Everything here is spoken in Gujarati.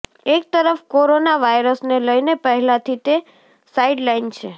એક તરફ કોરોના વાયરસને લઈને પહેલાથી તે સાઈડલાઈન છે